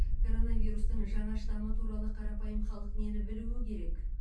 коронавирустың жаңа штамы туралы қарапайым халық нені білуі керек